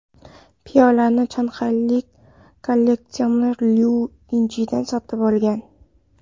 Piyolani shanxaylik kolleksioner Liu Yichian sotib olgan.